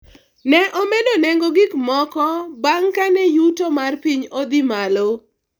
ne omedo nengo gikmoko bang' kane yuto mar piny odhi malo